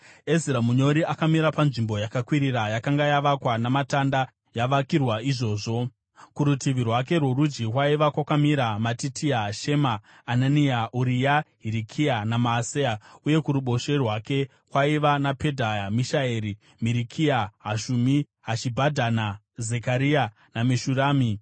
Ezira munyori akamira panzvimbo yakakwirira yakanga yavakwa namatanda, yavakirwa izvozvo. Kurutivi rwake rworudyi kwaiva kwakamira Matitia, Shema, Anania, Uria, Hirikia naMaaseya; uye kuruboshwe rwake kwaiva naPedhaya, Mishaeri, Marikiya, Hashumi, Hashibhadhana, Zekaria naMeshurami.